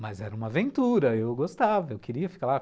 Mas era uma aventura, eu gostava, eu queria ficar lá.